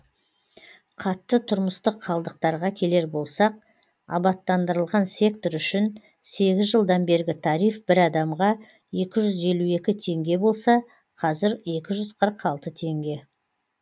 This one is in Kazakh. қатты тұрмыстық қалдықтарға келер болсақ абаттандырылған сектор үшін сегіз жылдан бергі тариф бір адамға екі жүз елу екі теңге болса қазір екі жүз қырық алты теңге